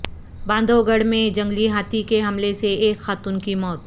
باندھوگڑھ میں جنگلی ہاتھی کے حملے سے ایک خاتون کی موت